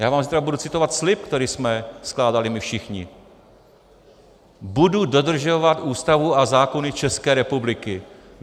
Já vám zítra budu citovat slib, který jsme skládali my všichni: budu dodržovat Ústavu a zákony České republiky.